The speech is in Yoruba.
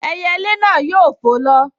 Ẹyẹlé náà yóò fò lọ